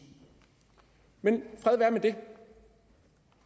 men fred være med det